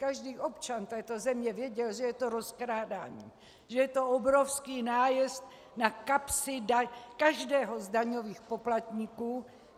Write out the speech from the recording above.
Každý občan této země věděl, že je to rozkrádání, že je to obrovský nájezd na kapsy každého z daňových poplatníků.